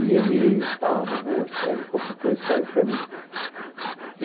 E ele disse, ah, vovô, escreve qualquer coisa, escreve para mim.